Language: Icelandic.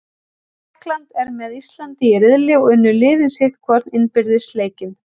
Tékkland er með Íslandi í riðli og unnu liðin sitt hvorn innbyrðis leikinn.